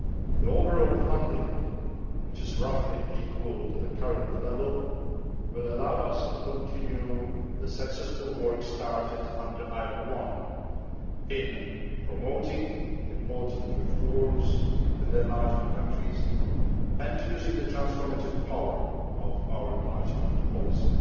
The overall funding, which is roughly equal to the current level, will allow us to continue the successful work started under IPA I in promoting important reforms in the enlargement countries and using the transformative power of our enlargement policy.